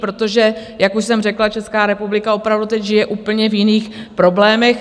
Protože, jak už jsem řekla, Česká republika opravdu teď žije v úplně jiných problémech.